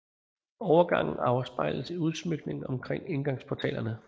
Overgangen afspejles i udsmykningen omkring indgangsportalerne